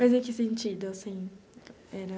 Mas em que sentido, assim, era...